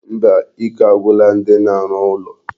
Mba, ike agwụla ndi na-arụ ụlọ.